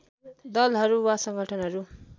दलहरू वा संगठनहरू